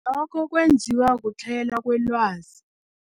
Lokho kwenziwa kuhlayela kwelwazi.